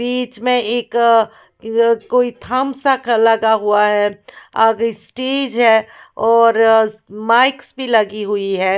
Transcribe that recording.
बीच में एक अ कोई थम्स सा लगा हुआ है आगे स्टेज है और माइक भी लगी हुई है।